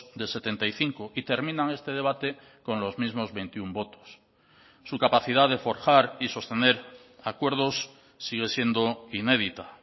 de setenta y cinco y terminan este debate con los mismos veintiuno votos su capacidad de forjar y sostener acuerdos sigue siendo inédita